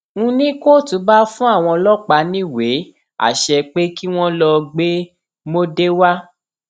n ní kóòtù bá fún àwọn ọlọpàá níwèé àṣẹ pé kí wọn lọọ gbé móde wá